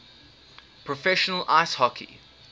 professional ice hockey